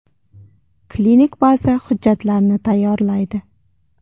Klinik baza hujjatlarni tayyorlaydi.